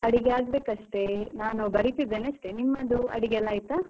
ಅಡಿಗೆ ಆಗಬೇಕಷ್ಟೇ, ನಾನು ಬರಿತಿದ್ದೇನೆ ಅಷ್ಟೇ. ನಿಮ್ಮದು ಅಡಿಗೆ ಎಲ್ಲ ಆಯ್ತಾ?